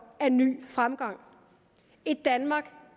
af ny fremgang et danmark